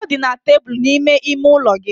Ọ dị na tebụl n'ime ime ụlọ gị.